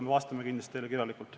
Me vastame kindlasti teile kirjalikult.